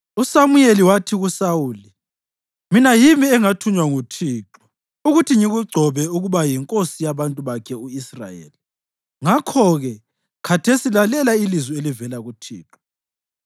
USamuyeli wathi kuSawuli, “Mina yimi engathunywa nguThixo ukuthi ngikugcobe ukuba yinkosi yabantu bakhe u-Israyeli; ngakho-ke khathesi lalela ilizwi elivela kuThixo.